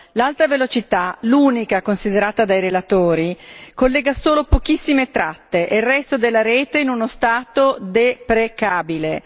L'alta velocità, l'unica considerata dai relatori, collega solo pochissime tratte e il resto della rete è in uno stato deprecabile.